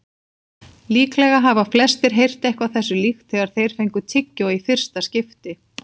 Líklega hafa flestir heyrt eitthvað þessu líkt þegar þeir fengu tyggjó í fyrsta skipti.